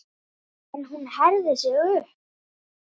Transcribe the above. En hún herðir sig upp.